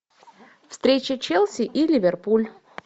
встреча челси и ливерпуль